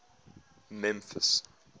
memphis